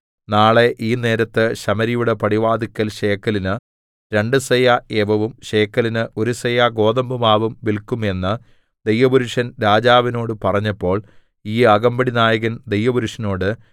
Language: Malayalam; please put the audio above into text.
നാളെ ഈ നേരത്ത് ശമര്യയുടെ പടിവാതില്ക്കൽ ശേക്കെലിന് രണ്ടു സെയാ യവവും ശേക്കെലിന് ഒരു സെയാ ഗോതമ്പുമാവും വില്ക്കും എന്ന് ദൈവപുരുഷൻ രാജാവിനോട് പറഞ്ഞപ്പോൾ ഈ അകമ്പടിനായകൻ ദൈവപുരുഷനോട്